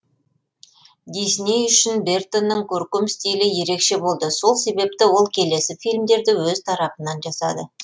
дисней үшін бертонның көркем стилі ерекше болды сол себепті ол келесі фильмдерді өз тарапынан жасады